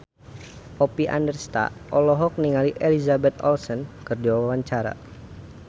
Oppie Andaresta olohok ningali Elizabeth Olsen keur diwawancara